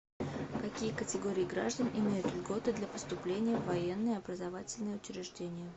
какие категории граждан имеют льготы для поступления в военные образовательные учреждения